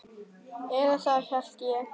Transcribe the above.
Eða það hélt ég!